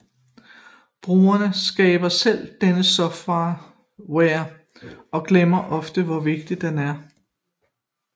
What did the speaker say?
Brugere skaber selv denne software og glemmer ofte hvor vigtig det er